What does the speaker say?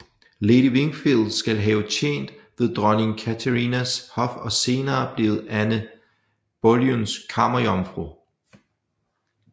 Lady Wingfield skal have tjent ved dronning Katharinas hof og senere blevet Anne Boleyns kammerjomfru